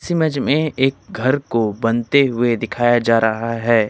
इस इमेज में एक घर को बनते हुए दिखाया जा रहा है।